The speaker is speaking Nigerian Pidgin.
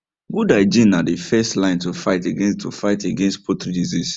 good hygiene na the first line to fight against to fight against poultry disease